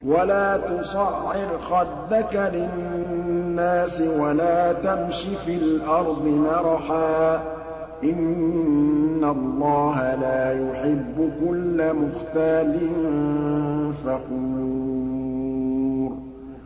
وَلَا تُصَعِّرْ خَدَّكَ لِلنَّاسِ وَلَا تَمْشِ فِي الْأَرْضِ مَرَحًا ۖ إِنَّ اللَّهَ لَا يُحِبُّ كُلَّ مُخْتَالٍ فَخُورٍ